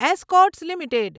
Escorts limited